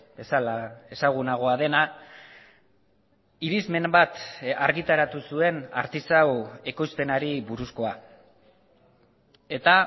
bezala ezagunagoa dena irizmen bat argitaratu zuen artisau ekoizpenari buruzkoa eta